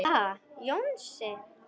Ha, Jónsi.